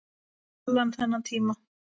Allan þennan tíma.